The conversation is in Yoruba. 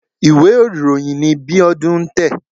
Ìwé ìròyìn ni Bíọ́dún ń tẹ̀.